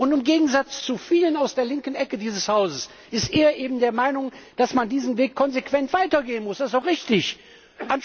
Und im Gegensatz zu vielen aus der linken Ecke dieses Hauses ist er eben der Meinung, dass man diesen Weg konsequent weitergehen muss, das ist auch richtig so!